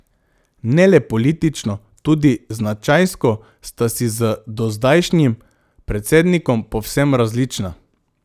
Ne le politično, tudi značajsko sta si z dozdajšnjim predsednikom povsem različna.